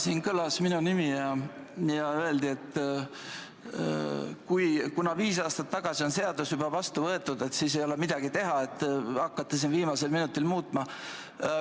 Siin kõlas tõesti minu nimi ja öeldi, et kuna viis aastat tagasi on seadus juba vastu võetud, siis ei ole midagi teha ja miks te hakkate siin viimasel minutil seda muutma.